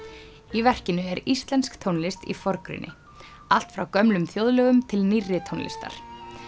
í verkinu er íslensk tónlist í forgrunni allt frá gömlum þjóðlögum til nýrri tónlistar